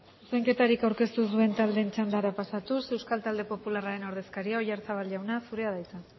zuzenketarik aurkeztu ez duten taldeen txandara pasatuz euskal talde popularraren ordezkaria oyarzabal jauna zurea da hitza